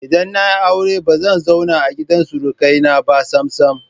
Idan na yi aure ba zan zauna a gidan surukaina ba sam-sam.